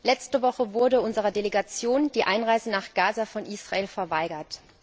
Letzte Woche wurde unserer Delegation die Einreise nach Gaza von Israel verweigert.